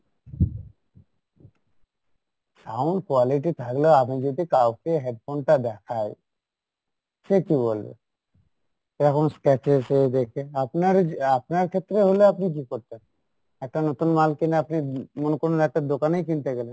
sound quality থাকলে আমি যদি কাউকে headphone টা দেখাই, সে কী বলবে? scratches এ দেখে আপনার আপনার ক্ষেত্রে হলে আপনি কী করতেন? একটা নতুন মাল কিনে আপনি, মনে করুন একটা দোকানেই কিনতে গেলেন